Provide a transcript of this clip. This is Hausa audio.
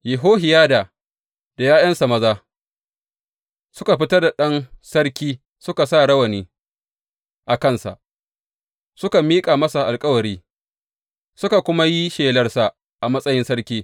Yehohiyada da ’ya’yansa maza suka fitar da ɗan sarki suka sa rawani a kansa; suka miƙa masa alkawarin, suka kuma yi shelarsa a matsayin sarki.